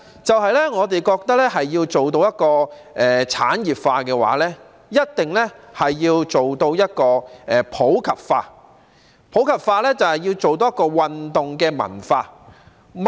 第二，我們認為要達到體育事業產業化，便一定要做到普及化，而普及化就是要營造運動文化。